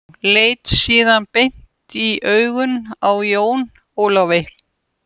Leit síðan beint í augun á Jón Ólafi.